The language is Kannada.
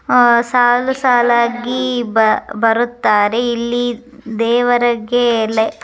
ಆ ಸಾಲು ಸಾಲಾಗಿ ಬರು ಬರುತ್ತಾರೆ ಇಲ್ಲಿ ದೇವರಗೆ --